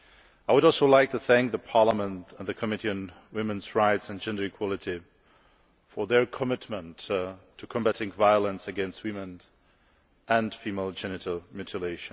I would also like to thank the Parliament and the Committee on Women's Rights and Gender Equality for their commitment to combatting violence against women, and FGM in particular.